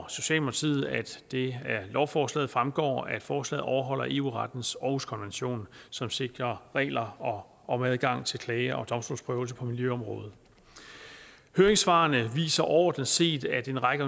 det af lovforslaget fremgår at forslaget overholder eu rettens århuskonvention som sikrer regler om adgang til klage og domstolsprøvelse på miljøområdet høringssvarene viser overordnet set at en række